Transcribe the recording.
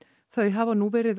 þau hafa nú verið